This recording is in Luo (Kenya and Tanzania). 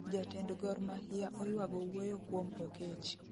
jatend gor mahia oywago wuoyo kuom oketch